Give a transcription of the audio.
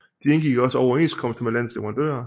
De indgik også overenskomster med landets leverandører